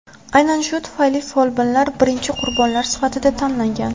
Aynan shu tufayli folbinlar birinchi qurbonlar sifatida tanlangan.